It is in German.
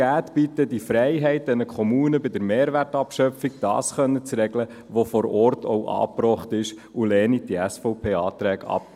Geben Sie deshalb den Kommunen bei der Mehrwertabschöpfung die Freiheit, das zu regeln, was vor Ort angebracht ist, und lehnen Sie diese SVP-Anträge ab.